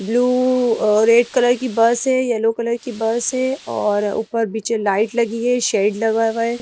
Blue uh red colour की bus है yellow colour की बस है और ऊपर बिचे लाइट लगी है शेड लगा हुआ है।